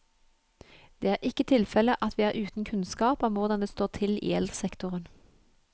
Det er ikke tilfelle at vi er uten kunnskap om hvordan det står til i eldresektoren.